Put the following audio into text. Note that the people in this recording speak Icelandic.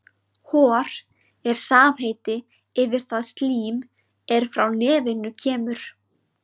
Hor er samheiti yfir það slím er frá nefinu kemur.